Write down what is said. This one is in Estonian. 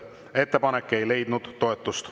Ettepanek ei leidnud toetust.